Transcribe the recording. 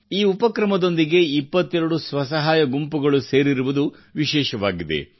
ಈ ಉಪಕ್ರಮದೊಂದಿಗೆ 22 ಸ್ವಸಹಾಯ ಗುಂಪುಗಳು ಸೇರಿರುವುದು ವಿಶೇಷವಾಗಿದೆ